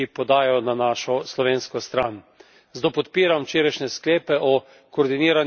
Zato podpiram včerajšnje sklepe o koordinirani akciji tistih, ki smo na tej poti.